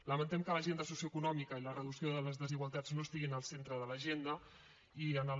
lamentem que l’agenda socioeconòmica i la reducció de les desigualtats no estiguin al centre de l’agenda i en el